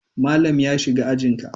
Malam ya shiga ajin ka?